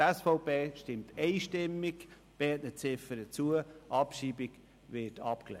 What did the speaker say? Die SVP stimmt beiden Ziffern einstimmig zu, die Abschreibung wird abgelehnt.